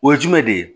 O ye jumɛn de ye